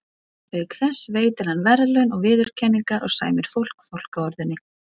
Auk þess veitir hann verðlaun og viðurkenningar og sæmir fólk fálkaorðunni.